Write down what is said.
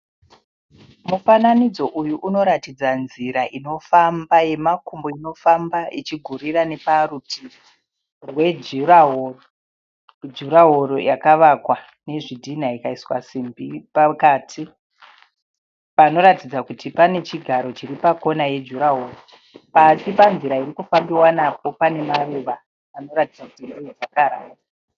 Mufananidzo uyu unoratidza nzira inofamba yemakumbo. Inofamba ichigurira neparutivi rwejurahoro. Jurahoro yakavakwa nezvitinha ikaiswa simbi pakati. Panoratidza kuti panechigaro chiri pakona ye jurahoro. Pasi panzira inofambiwa napo pane maruva anoratidza kuti ndeejakaranda.